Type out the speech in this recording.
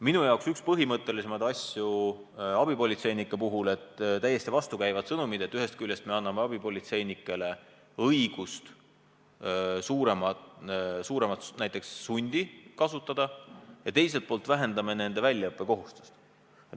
Minu jaoks üks põhimõttelisemaid asju abipolitseinike puhul on see, et antakse täiesti vastukäivaid sõnumeid: ühest küljest me anname abipolitseinikele õiguse näiteks suuremat sundi kasutada, aga teiselt poolt vähendame nende väljaõppekohustust.